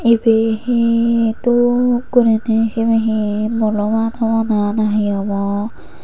ibey hi dup guriney sibey hi bolomat abow na hi abow.